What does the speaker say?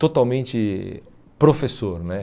totalmente professor, né?